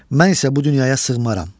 Mən isə bu dünyaya sığmaram.